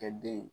Kɛ den ye